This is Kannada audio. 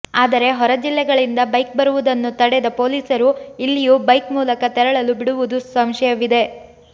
ಆದರೆ ಹೊರ ಜಿಲ್ಲೆಗಳಿಂದ ಬೈಕ್ ಬರುವುದನ್ನು ತಡೆದ ಪೊಲೀಸರು ಇಲ್ಲಿಯೂ ಬೈಕ್ ಮೂಲಕ ತೆರಳಲು ಬಿಡುವುದು ಸಂಶಯವಿದೆ